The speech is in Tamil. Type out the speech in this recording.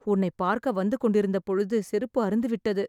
உன்னை பார்க்க வந்து கொண்டிருந்த பொழுது செருப்பு அறுந்துவிட்டது